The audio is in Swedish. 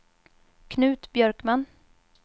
Knut Björkman